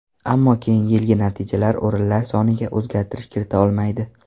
Ammo keyingi yilgi natijalar o‘rinlar soniga o‘zgartirish kirita olmaydi.